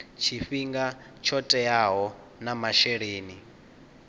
tshifhinga tsho teaho na masheleni